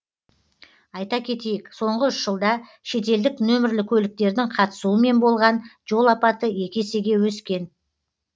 айта кетейік соңғы үш жылда шетелдік нөмірлі көліктердің қатысуымен болған жол апаты екі есеге өскен